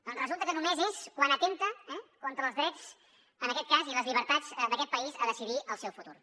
doncs resulta que només és quan atempta eh contra els drets en aquest cas i les llibertats d’aquest país a decidir el seu futur